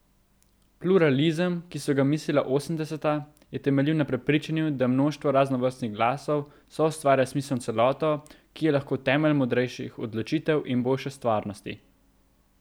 Pluralizem, ki so ga mislila osemdeseta, je temeljil na prepričanju, da mnoštvo raznovrstnih glasov soustvarja smiselno celoto, ki je lahko temelj modrejših odločitev in boljše stvarnosti.